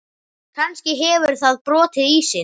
Kannski hefur það brotið ísinn.